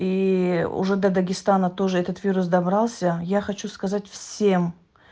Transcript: и уже до дагестана тоже этот вирус добрался я хочу сказать всем